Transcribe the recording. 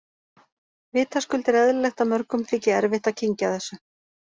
Vitaskuld er eðlilegt að mörgum þyki erfitt að kyngja þessu.